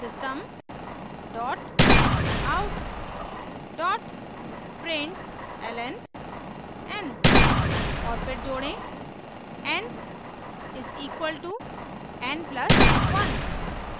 system out println n; और फिर जोड़ें n = n + 1;